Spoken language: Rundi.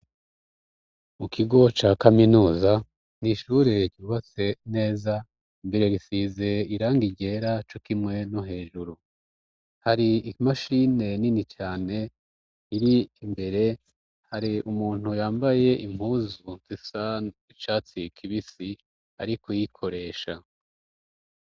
Mu kigo ca kaminuza ntishureye gibatse neza mbere gisize iranga igyera co kimwe no hejuru hari imashine nini cane iri mbere hari umuntu yambaye impuzu tisan icatsi ikibisi ari ku yikoreye esha.